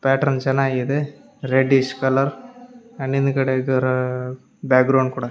Pattern ಚೆನ್ನಾಗಿದೆ reddish colour and ಹಿಂದ್ಗಡೆ ಇದರ ಬ್ಯಾಗ್ರೌಂಡ್ ಕೂಡ.